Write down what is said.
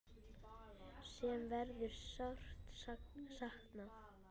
Sem verður sárt saknað.